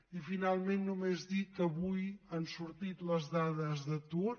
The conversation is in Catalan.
i finalment només dir que avui han sortit les dades d’atur